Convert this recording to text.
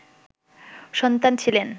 সন্তান ছিলেন